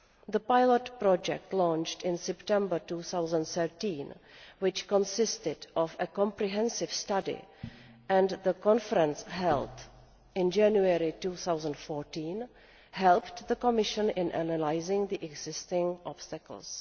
The pilot project launched in September 2013, which consisted of a comprehensive study, and the conference held in January 2014 helped the Commission in analysing the existing obstacles.